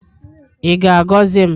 Ị ga-agọzi m?